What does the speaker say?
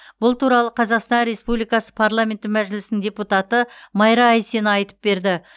бұл туралы қазақстан республикасы парламенті мәжілісінің депутаты майра айсина айтып берді